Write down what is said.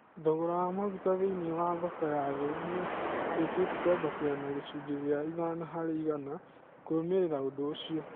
Thogora wa maguta thĩiniĩ wa thoko ya thĩ nĩũrĩkĩtie kwambatĩra na gĩcũnjĩ gĩa ithano harĩ igana kũrũmĩrĩra ũndũ ũcio